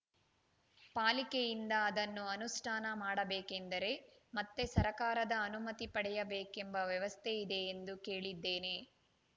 ಪಾಲಿಕೆಯಿಂದ ಅದನ್ನು ಅನುಷ್ಠಾನ ಮಾಡಬೇಕೆಂದರೆ ಮತ್ತೆ ಸರಕಾರದ ಅನುಮತಿ ಪಡೆಯಬೇಕೆಂಬ ವ್ಯವಸ್ಥೆ ಇದೆ ಎಂದು ಕೇಳಿದ್ದೇನೆ